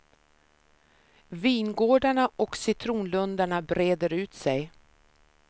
Vingårdarna och citronlundarna breder ut sig.